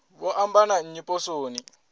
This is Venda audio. vho amba na nnyi poswoni